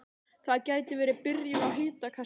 Það gæti verið byrjun á hitakasti